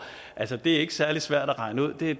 altså det er ikke særlig svært at regne ud det